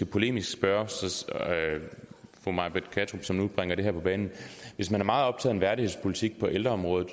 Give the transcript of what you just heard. polemisk spørge fru may britt kattrup som nu bringer det her på banen hvis man er meget optaget værdighedspolitik på ældreområdet